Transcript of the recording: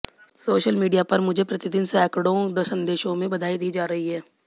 social media पर मुझे प्रतिदिन सैकड़ों संदेशों में बधाई दी जा रही है